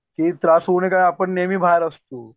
की त्रास होऊ नये की आपण नेहमी बाहेर असतो.